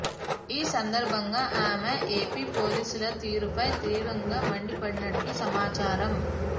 ఈ సందర్భంగా ఆమె ఏపీ పోలీసుల తీరుపై తీవ్రంగా మండిపడినట్టు సమాచారం